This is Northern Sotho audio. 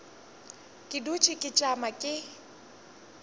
ke dutše ke tšama ke